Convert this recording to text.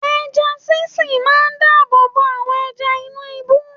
Ẹja sí sìn máa dáàbò bo àwọn ẹja inú ibú.